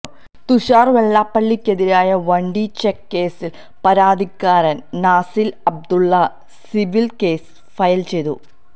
തുഷാര് വെള്ളാപ്പള്ളിക്കെതിരായ വണ്ടി ചെക്ക് കേസില് പരാതിക്കാരന് Nasil Abdulla civil case file ചെയ്തു